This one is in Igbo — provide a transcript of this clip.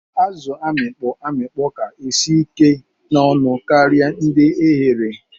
Azu amikpọ amikpọ ka isi ike na ọnụ karia ndi eghere.